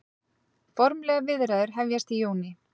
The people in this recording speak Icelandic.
Formlegar viðræður hefjast í júní